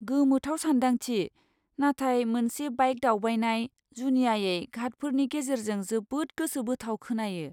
गोमोथाव सानदांथि, नाथाय मोनसे बाइक दावबायनाय, जुनियायै घाटफोरनि गेजेरजों जोबोद गोसोबोथाव खोनायो।